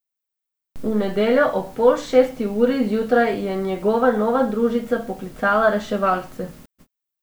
V nedeljo ob pol šesti uri zjutraj je njegova nova družica poklicala reševalce.